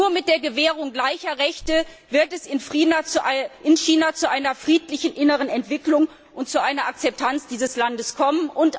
Nur mit der Gewährung gleicher Rechte wird es in China zu einer friedlichen inneren Entwicklung und zu einer Akzeptanz dieses Landes kommen.